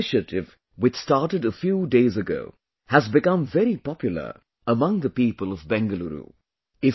This initiative which started a few days ago has become very popular among the people of Bengaluru